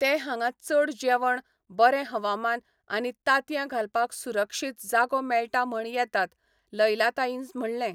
ते हांगा चड जेवण, बरें हवामान, आनी तांतयां घालपाक सुरक्षीत जागो मेळटा म्हण येतात, लैला ताईन म्हणलें.